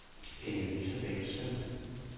Inge-Lise Bengtsen